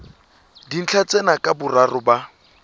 dintlha tsena ka boraro ba